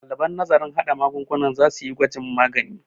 ɗaliban nazarin haɗa magungunan za su yi gwajin magani